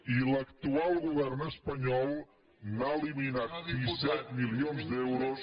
i l’actual govern espanyol ha eliminat disset milions d’euros